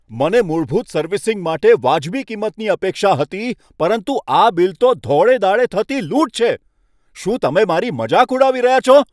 મને મૂળભૂત સર્વિસિંગ માટે વાજબી કિંમતની અપેક્ષા હતી, પરંતુ આ બિલ તો ધોળે દ્હાડે થતી લૂંટ છે! શું તમે મારી મજાક ઉડાવી રહ્યાં છો?